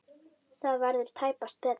Það verður tæpast betra.